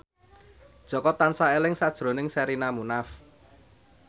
Jaka tansah eling sakjroning Sherina Munaf